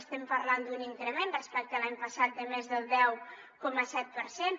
estem parlant d’un increment respecte a l’any passat de més del deu coma set per cent